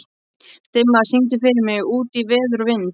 Dimma, syngdu fyrir mig „Út í veður og vind“.